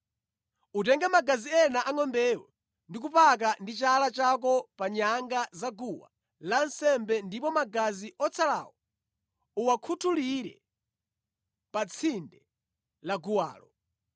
Utenge magazi ena angʼombeyo ndi kupaka ndi chala chako pa nyanga zaguwa lansembe ndipo magazi otsalawo uwakhutulire pa tsinde laguwalo.